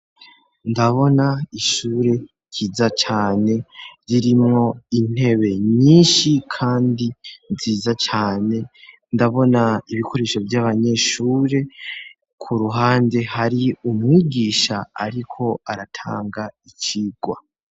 ndabona ishure ryiza cane ririmwo intebe nyinshi kandi nziza cane ndabona ibikoresho vy'abanyeshure ku ruhande hari umwigisha ariko aratanga icigwa